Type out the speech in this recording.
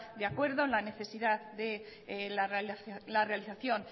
de acuerdo en la necesidad de la realización